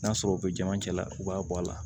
N'a sɔrɔ u bɛ jama cɛla u b'a bɔ a la